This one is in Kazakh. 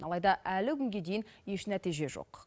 алайда әлі күнге дейін еш нәтиже жоқ